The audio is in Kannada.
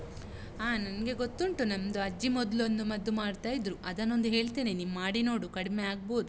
ಹಾ ನನ್ಗೆ ಗೊತ್ತುಂಟು. ನಮ್ದು ಅಜ್ಜಿ ಮೊದ್ಲೊಂದು ಮದ್ದು ಮಾಡ್ತಾ ಇದ್ರು. ಅದನ್ನೊಂದು ಹೇಳ್ತೇನೆ, ನೀನ್ ಮಾಡಿ ನೋಡು, ಕಡ್ಮೆ ಆಗ್ಬೋದು.